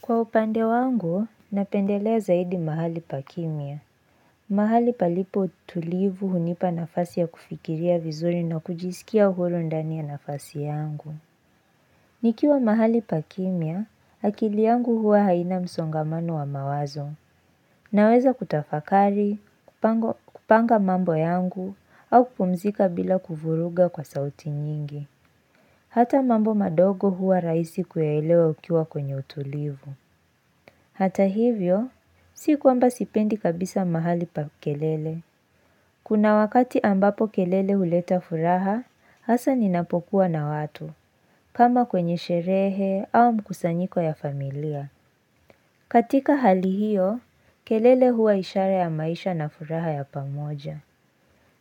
Kwa upande wangu, napendelea zaidi mahali pa kimya. Mahali palipo utulivu hunipa nafasi ya kufikiria vizuri na kujisikia uhuru ndani ya nafasi yangu. Nikiwa mahali pa kimya, akili yangu huwa haina msongamano wa mawazo. Naweza kutafakari, kupanga mambo yangu, au kupumzika bila kuvuruga kwa sauti nyingi. Hata mambo madogo huwa rahisi kuyaelewa ukiwa kwenye utulivu. Hata hivyo, si kwamba sipendi kabisa mahali pa kelele. Kuna wakati ambapo kelele huleta furaha, hasa ninapokuwa na watu, kama kwenye sherehe au mkusanyiko ya familia. Katika hali hiyo, kelele huwa ishara ya maisha na furaha ya pamoja.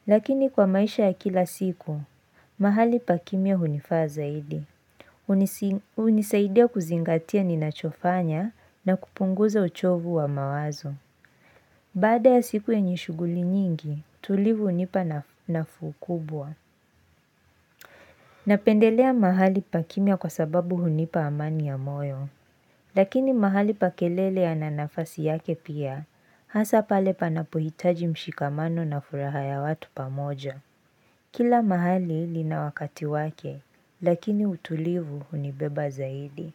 Lakini kwa maisha ya kila siku, mahali pakimya hunifaa zaidi. Unisaidia kuzingatia ninachofanya na kupunguza uchovu wa mawazo. Baada ya siku yenye shughuli nyingi, utulivu hunipa nafuu kubwa. Napendelea mahali pakimia kwa sababu unipa amani ya moyo. Lakini mahali pa kelele yana nafasi yake pia, hasa pale panapohitaji mshikamano na furaha ya watu pamoja. Kila mahali lina wakati wake, lakini utulivu hunibeba zaidi.